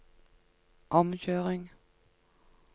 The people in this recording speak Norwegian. omkjøring